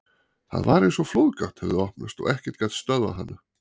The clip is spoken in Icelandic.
Það var eins og flóðgátt hefði opnast og ekkert gat stöðvað hana.